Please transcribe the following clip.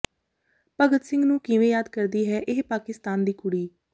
ਭਗਤ ਸਿੰਘ ਨੂੰ ਕਿਵੇਂ ਯਾਦ ਕਰਦੀ ਹੈ ਇਹ ਪਾਕਿਸਤਾਨ ਦੀ ਕੁੜੀ